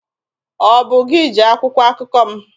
Ọ bụ gị ji akwụkwọ akụkọ m?